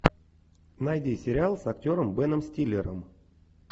найди сериал с актером беном стиллером